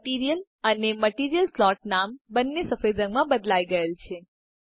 material અને material slot નામ બંને સફેદ રંગમાં બદલાય ગયેલ છે